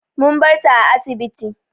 Mun bar ta a asibiti.